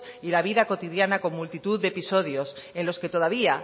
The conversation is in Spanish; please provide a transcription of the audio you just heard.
y la vida cotidiana con multitud de episodios en los que todavía